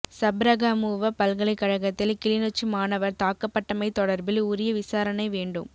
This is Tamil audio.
சப்ரகமுவ பல்கலைக்கழகத்தில் கிளிநொச்சி மாணவர் தாக்கப்பட்டமை தொடர்பில் உரிய விசாரணை வேண்டும்